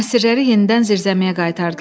Əsirləri yenidən zirzəmiyə qaytardılar.